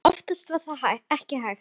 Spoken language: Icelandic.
Oftast var það ekki hægt.